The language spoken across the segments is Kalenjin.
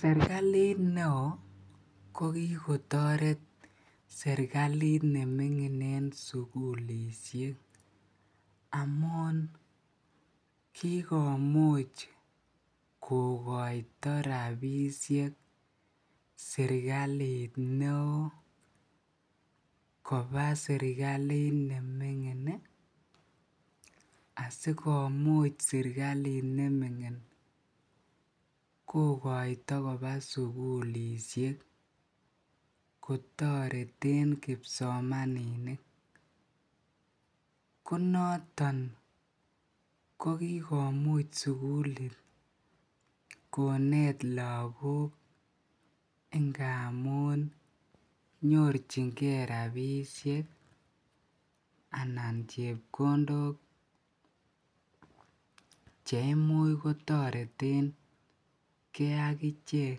Serkalit neo kokikotoret sugulisiek amuun kikomuch kokoita rabisiek, serkalit neo koba serkalit neming'in ih asikomuch serkalit neming'in kokoita koba sugulisiek kotareten kibsomaninik, ko noton kikomuch sugulit komuch konet lakok ingamuun nyorchike rabisiek anan chebkondok chetoreten ge akichek.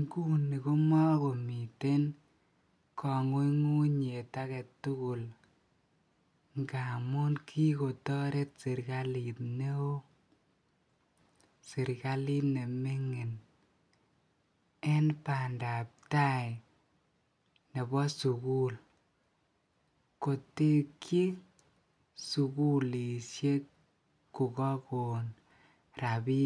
Nguni komakomiten kang'unyng'unet agetugul ngamun kikotoret serkalit neo serkalit neming'in. En bandab tai nebo sugulisiek kokakon rabinik.